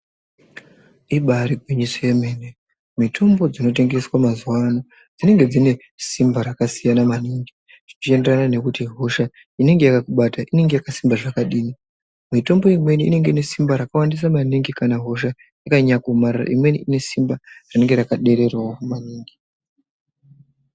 ibari gwinyiso yemene mitombo dzinotengeswa mazuva dzinenge dzine simba rakasiyana maningi. Zvichienderana nekuti hosha inenge yakakubata inenge yakasimba zvakadini. Mitombo imweni inenge ine simba rakawandaisa maningi kana hosha yakanyanya kuomarara imweni ine simba rinenge rakadereravo maningi.